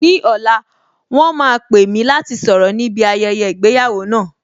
Ní ọ̀la, wọn máa pè mí láti sọ̀rọ̀ ní bi ayẹyẹ ìgbéyàwó náà